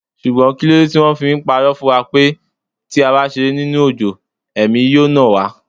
Ṣùgbọ́n kíló de tí wón fi pa'rọ́ fún wa wípé tí a bá ṣeré nínú òjò, Ẹ̀mí yóò nà wá?